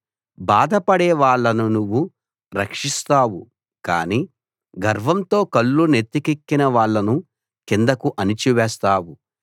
బాధపడే వాళ్ళను నువ్వు రక్షిస్తావు కాని గర్వంతో కళ్ళు నెత్తికెక్కిన వాళ్ళను కిందకు అణిచి వేస్తావు